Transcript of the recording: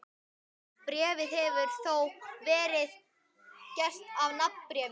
Bréfið hefur þá verið gert að nafnbréfi.